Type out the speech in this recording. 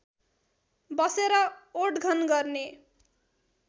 बसेर ओटघन गर्ने